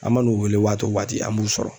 An mann'u wele waati o waati an m'u sɔrɔ.